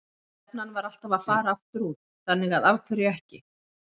Stefnan var alltaf að fara aftur út, þannig að af hverju ekki?